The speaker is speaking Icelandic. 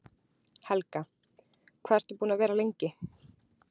Helga: Hvað ert þú búinn að vera lengi?